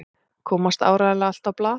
Komst áreiðanlega allt á blað?